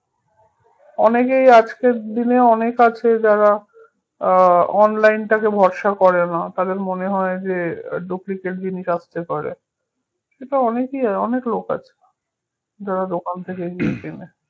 অনেকেই আজকের দিনে অনেক আছে যারা আহ online টাকে ভরসা করেনা তাদের মনে হয় যে আহ duplicate জিনিস আসতে পারে, সেটা অনেকেই অনেক লোক আছে যারা দোকান থেকে কেনে